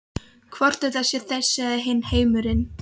Hvort þetta sé þessi eða hinn heimurinn.